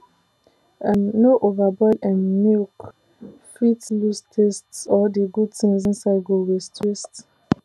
um no overboil um milk fit lose taste or the good things inside go waste waste